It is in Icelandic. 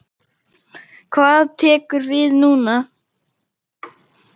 Hvað tekur við núna?